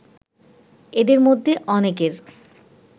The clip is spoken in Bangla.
এদের মধ্যে অনেকের